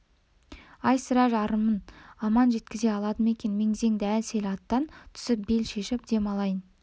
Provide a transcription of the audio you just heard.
ай сірә жарымын аман жеткізе алды ма екен мең-зең дел-сал аттан түсіп бел шешіп дем алайын